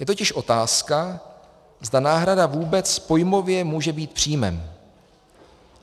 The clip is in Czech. Je totiž otázka, zda náhrada vůbec pojmově může být příjmem.